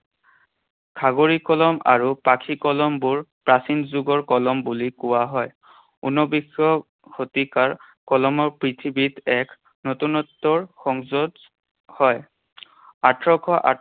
খাগৰি কলম আৰু পাখি কলমবোৰ প্ৰাচীন যুগৰ কলম বুলি কোৱা হয়। ঊনবিংশ শতিকাৰ কলমৰ পৃথিৱীত এক নতুনত্বৰ সংযোজ হয়। আঠৰশ